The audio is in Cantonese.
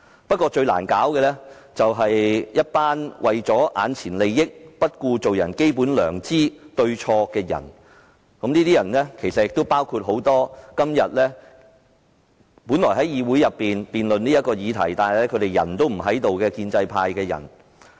不過，現時最難處理的，是一群只顧眼前利益，不顧做人的基本良知對錯的人，而這些人當然包括很多本應留在議事廳辯論這個議題，但卻已離席的建制派議員。